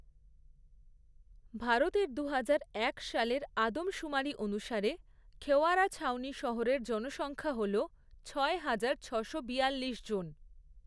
ভারতের দুহাজার এক সালের আদমশুমারি অনুসারে খেরওয়ারা ছাওনি শহরের জনসংখ্যা হল ছয় হাজার, ছয়শো বিয়াল্লিশ জন।